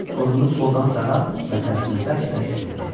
Burnunu soldan sağa və tərsinə bərk-bərk sildi.